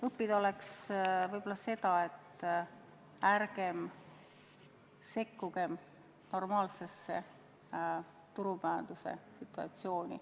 Õppida oleks võib-olla seda, et ärgem sekkugem normaalsesse turumajanduse situatsiooni.